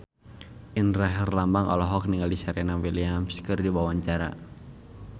Indra Herlambang olohok ningali Serena Williams keur diwawancara